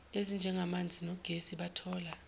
ezinjengamanzi nogesi bathola